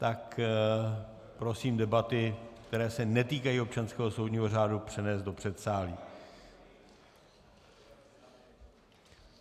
Tak prosím debaty, které se netýkají občanského soudního řádu, přenést do předsálí.